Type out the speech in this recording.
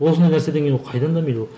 осындай нәрседен кейін ол қайдан дамиды ол